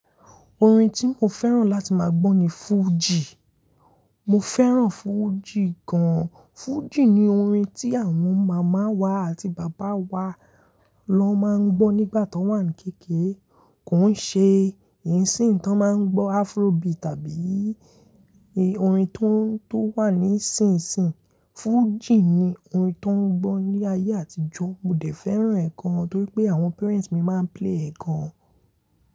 Orin tí mo fẹ́ràn láti máa gbọ́ ni fújì. Mo fẹ́ràn fújì gan-an. Fújì ni orin tí àwọn màmá wa àti bàbá wa ló máa ń gbọ́ nígbà ton wà ní kékèrè. Kò ń ṣe ìsìn tí wọ́n máa ń gbọ́ Afrobeat tàbí orin tó n, tó wà ní sinsìnyí. Fújì ni orin tó ń gbọ́ ní ayé àtijọ́. Mo dẹ̀ fẹ́ràn ẹ̀ gan-an torí pé àwọn parents mi máa ń play ẹ̀ gan-an.